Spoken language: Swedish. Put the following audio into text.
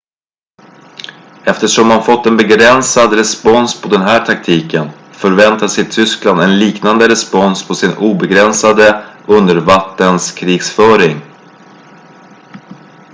eftersom man fått en begränsad respons på den här taktiken förväntade sig tyskland en liknande respons på sin obegränsade undervattenskrigföring